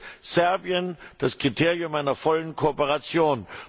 Erfüllt Serbien das Kriterium einer vollen Kooperation?